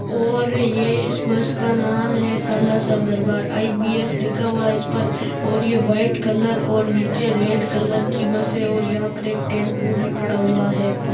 और यह इस बस का नाम हैं सालासर दरबार आई.बी.एस लिखा हुआ हैं इस पर और ये व्हाइट कलर और नीचे रेड कलर की बस हैं और यह पर एक टेम्पो भी पड़ा हुआ हैं।